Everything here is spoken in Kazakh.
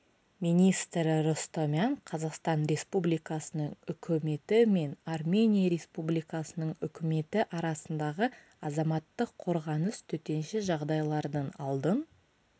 министрі ростомян қазақстан республикасының үкіметі мен армения республикасының үкіметі арасындағы азаматтық қорғаныс төтенше жағдайлардың алдын